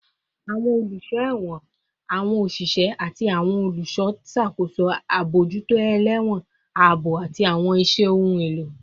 Awọn oluso ẹwọn, awọn oṣiṣẹ, ati awọn oluṣọ n ṣakoso abojuto elewon, aabo, ati awọn iṣẹ ohun elo